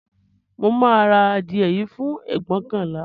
Mo máa ra adìẹ yìí fún ẹgbóokànlá